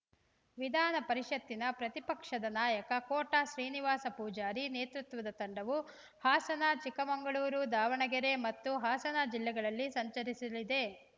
ವಿಧಾನಪರಿಷತ್ತಿನ ಪ್ರತಿಪಕ್ಷದ ನಾಯಕ ಕೋಟಾ ಶ್ರೀನಿವಾಸ ಪೂಜಾರಿ ನೇತೃತ್ವದ ತಂಡವು ಹಾಸನ ಚಿಕ್ಕಮಗಳೂರು ದಾವಣಗೆರೆ ಮತ್ತು ಹಾಸನ ಜಿಲ್ಲೆಗಳಲ್ಲಿ ಸಂಚರಿಸಲಿದೆ